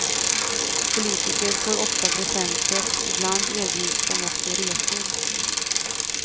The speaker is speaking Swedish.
Politiker får ofta presenter, ibland erbjuds de också resor.